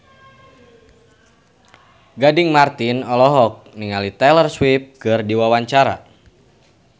Gading Marten olohok ningali Taylor Swift keur diwawancara